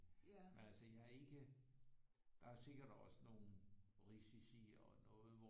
Men altså I har ikke der er sikkert også nogle risici og noget hvor